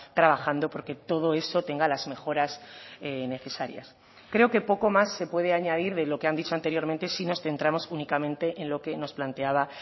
trabajando porque todo eso tenga las mejoras necesarias creo que poco más se puede añadir de lo que han dicho anteriormente si nos centramos únicamente en lo que nos planteaba